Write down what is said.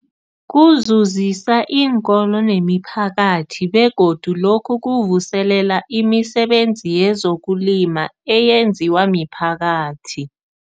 Kuzuzisa iinkolo nemiphakathi begodu lokhu kuvuselela imisebenzi yezokulima eyenziwa miphakathi.